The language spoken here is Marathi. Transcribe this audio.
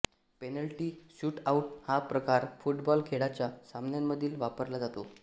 पेनल्टी शूटआउट हा प्रकार फुटबॉल खेळाच्या सामन्यांमध्ये वापरला जातो